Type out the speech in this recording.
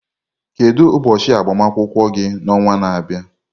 Kedu ụbọchị agbamakwụkwọ gị n'ọnwa na-abịa?